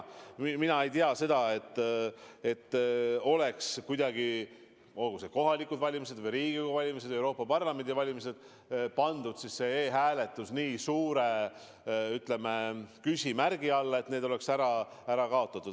Mina ei tea, et oleks kuidagi – olgu need kohalikud valimised või Riigikogu valimised või Euroopa Parlamendi valimised – pandud e-hääletus nii suure küsimärgi alla, et see oleks ära kaotatud.